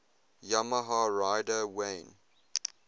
yamaha rider wayne